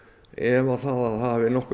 efa að það hafi nokkurn